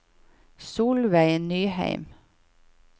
Solveig Nyheim